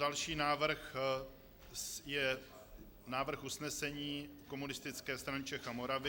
Další návrh je návrh usnesení Komunistické strany Čech a Moravy.